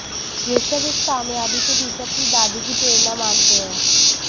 ऋषभ इस कामयाबी के पीछे अपनी दादी की प्रेरणा मानते हैं